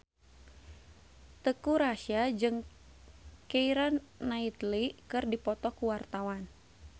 Teuku Rassya jeung Keira Knightley keur dipoto ku wartawan